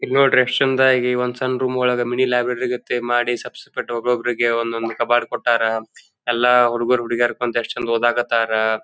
ಇಲ್ನೋದ್ರಿ ಎಸ್ಟ್ ಚಂದಾಗಿ ಆಶ್ರಮದಾಗ ಒಂದ್ ಸಣ್ಣ ರೂಮ್ ಒಳಗ ಮಿನಿ ಲ್ಯಾಬ್ ಲೈಬ್ರರಿ ಮಾಡಿ ಸೆಪೆರೇಟ್ ಒಬೊಬ್ಬರಿಗೆ ಒಂದೊಂದ್ ಕ ಕಬೋರ್ಡ್ ಕೊಟ್ಟಾರ ಎಲ್ಲಾ ಹುಡುಗುರ್ ಹುಡುಗೀರು ಕೂತ್ ಓದಾ ಕತ್ತರ.